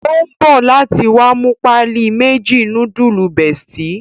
O n bọ láti wá mú páálí méjì nudulu bestie